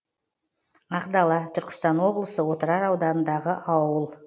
ақдала түркістан облысы отырар ауданындағы ауыл